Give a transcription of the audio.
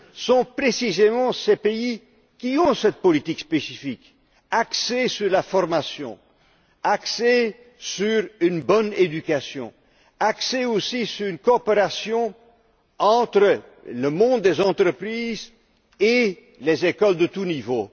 sont précisément ceux qui ont cette politique spécifique, axée sur la formation, sur une bonne éducation et sur une coopération entre le monde des entreprises et les écoles de tout niveau.